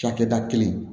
Cakɛda kelen